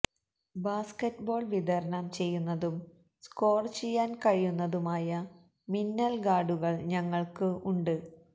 basketball വിതരണം ചെയ്യുന്നതും score ചെയ്യാൻ കഴിയുന്നതുമായ മിന്നൽ ഗാർഡുകൾ ഞങ്ങൾക്ക് ഉണ്ട്